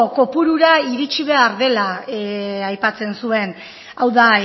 kopurura iritsi behar dela aipatzen zuen hau da